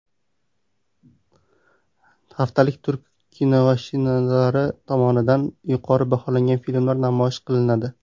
Haftalikda turk kinoshinavandalari tomonidan yuqori baholangan filmlar namoyish qilinadi.